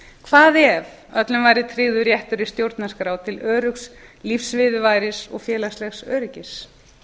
hvað ef öllum væri tryggður réttur í stjórnarskrá til öruggs lífsviðurværis og félagslegs öryggis